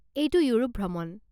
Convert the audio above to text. এইটো ইউৰোপ ভ্ৰমণ।